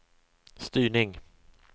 styrning